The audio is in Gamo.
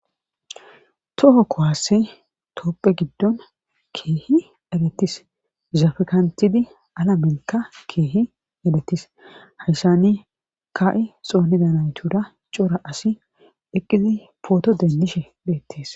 toho kohasse toopphe giddon keehi erettis zafkantidi alamenkka keehi edetis haysani ka7i xoonidanaytuda cora asi eqqizi pooto dendishe beettees